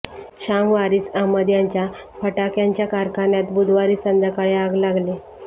शाम वारिस अहमद यांच्या फटाक्यांच्या कारखान्यात बुधवारी संध्याकाळी आग लागली